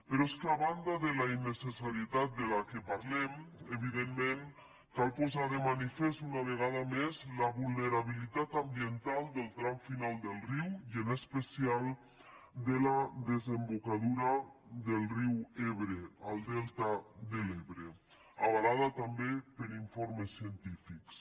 però és que a banda de la innecessarietat de què parlem evidentment cal posar de manifest una vegada més la vulnerabilitat ambiental del tram final del riu i en especial de la desembocadura del riu ebre el delta de l’ebre avalada també per informes científics